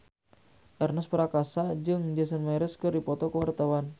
Ernest Prakasa jeung Jason Mraz keur dipoto ku wartawan